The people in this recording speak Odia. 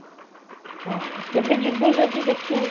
ହଁ, କେବେ ଯିବୁ ଯଦି ଦେଖିବୁ